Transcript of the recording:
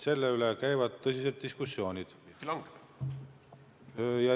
Selle üle käivad tõsised diskussioonid.